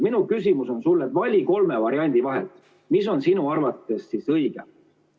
Minu küsimus on sulle, et vali kolme variandi vahel see, mis on sinu arvates õige.